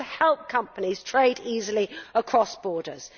It is meant to help companies trade easily across borders.